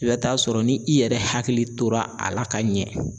I bɛ taa sɔrɔ ni i yɛrɛ hakili tora a la ka ɲɛ